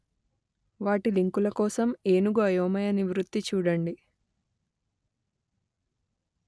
వాటి లింకుల కోసం ఏనుగు అయోమయ నివృత్తి చూడండి